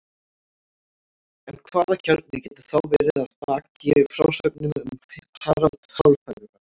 En hvaða kjarni getur þá verið að baki frásögnum um Harald hárfagra?